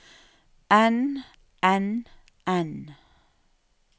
enn enn enn